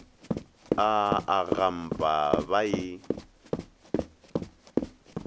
a a gampa ba e